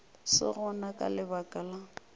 se gona ka lebaka la